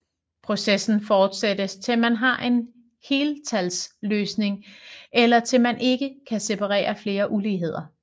Processen fortsættes til man har en heltalsløsning eller til man ikke kan separere flere uligheder